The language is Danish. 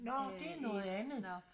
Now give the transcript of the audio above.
Nårh det er noget andet